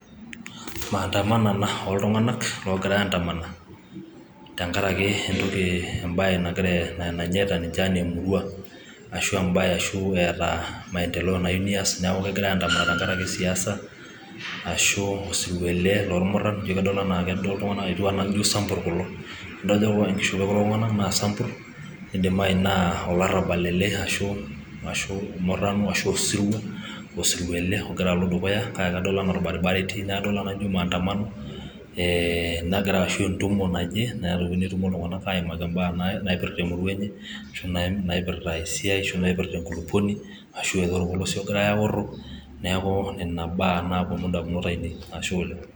Aa maatamanto ena oltung'anak oogira aantama, tengara entoki, ebae nanyaita ninche enaa emurua ashu aa ebae ashu eeta maendeleo nayiu neas neeku kegira aata aantamana tengaraki siasa, ashu osirua ele loormurran, eji kadol enaa kedo ejio kajio samburr kulo ino tenidol ninye enkishopo ekulo Tung'anak naa sampurr neidimayu naa olarrabal ele ashu murrano ashu osirua ele ogira alo dukuya naa kadol enaa orbaribara etii ena maatamanto ee negira ashu entumo naje negira iltung'anak aimaki ibaa naipirta emurua enye ashu naipirta esiai ashu naipirta enkulukoni ashu enorpolosie egirae aaworro neaku neaku Nena baa naaponu idamunot ainei, Ashe oleng'.